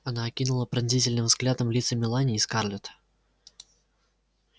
она окинула пронзительным взглядом лица мелани и скарлетт